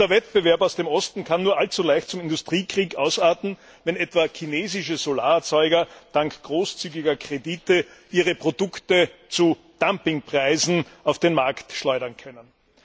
Und der Wettbewerb aus dem Osten kann nur allzu leicht zum Industriekrieg ausarten, wenn etwa chinesische Solarerzeuger dank großzügiger Kredite ihre Produkte zu Dumpingpreisen auf den Markt schleudern können.